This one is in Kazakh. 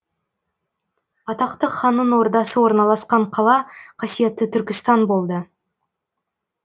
атақты ханның ордасы орналасқан қала қасиетті түркістан болды